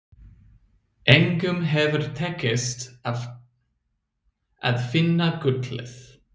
Engum hefur tekist að finna gullið.